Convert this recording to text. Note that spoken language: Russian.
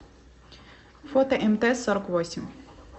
фото мт сорок восемь